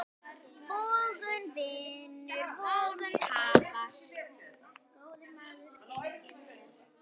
Vogun vinnur, vogun tapar.